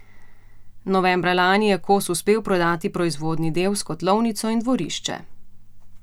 Novembra lani je Kos uspel prodati proizvodni del s kotlovnico in dvorišče.